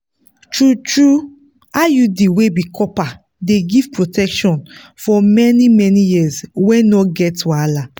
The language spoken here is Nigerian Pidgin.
true-true iud wey be copper dey give protection for many-many years wey no get wahala.